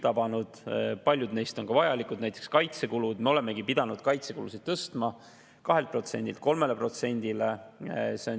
Paljud neist on ka vajalikud, näiteks kaitsekulud, me oleme pidanud kaitsekulusid tõstma 2%-lt 3%-le.